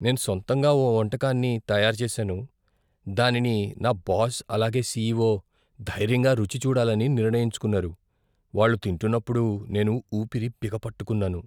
నేను సొంతంగా ఓ వంటకాన్ని తయారు చేసాను, దానిని నా బాస్, అలాగే సీఈఓ ధైర్యంగా రుచి చూడాలని నిర్ణయించుకున్నారు. వాళ్లు తింటున్నప్పుడు నేను ఊపిరి బిగపట్టుకున్నాను.